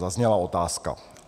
zazněla otázka.